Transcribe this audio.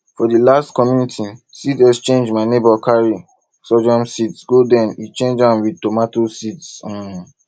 for the last community seed exchange my neighbour carry sorghum seeds go then e change am wit tomato seeds um